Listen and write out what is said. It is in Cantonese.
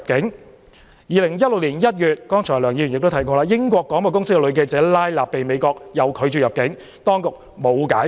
在2016年1月，梁議員剛才也提到，英國廣播公司女記者拉納被美國拒絕入境，當局沒有解釋。